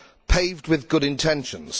paved with good intentions.